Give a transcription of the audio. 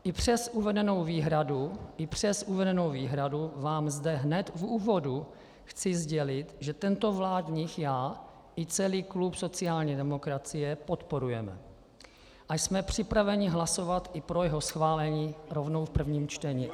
I přes uvedenou výhradu vám zde hned v úvodu chci sdělit, že tento vládní já i celý klub sociální demokracie podporujeme a jsme připraveni hlasovat i pro jeho schválení rovnou v prvním čtení.